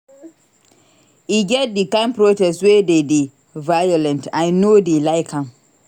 E get di kain protest wey dey dey violent I no dey like am.